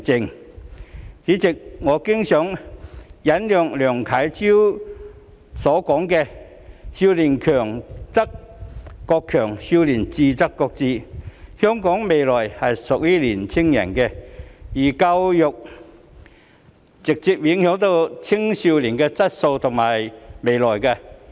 代理主席，我經常引用梁啟超的名言："少年強則國強，少年智則國智"，香港未來是屬於年輕人的，而教育直接影響青少年的質素及未來。